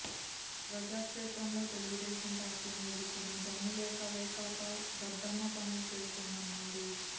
ప్రజాక్షేత్రంలో తెలుగుదేశం పార్టీని ఎదుర్కొనే దమ్ము లేక వైకాపా దద్దమ్మ పనులు చేస్తోందన్నారు